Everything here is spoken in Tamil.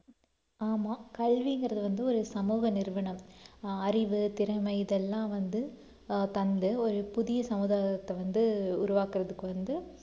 ஆமா கல்விங்கிறது வந்து ஒரு சமூக நிறுவனம் ஆஹ் அறிவு, திறமை, இதெல்லாம் வந்து ஆஹ் தந்து ஒரு புதிய சமுதாயத்தை வந்து ஆஹ் உருவாக்குறதுக்கு வந்து